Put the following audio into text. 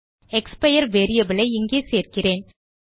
expire variable ஐ இங்கே சேர்க்கிறேன்